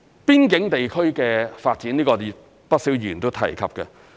邊境地區的發展，不少議員均有提及。